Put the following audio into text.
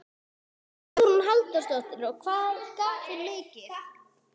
Hugrún Halldórsdóttir: Og hvað gaf hún mikið?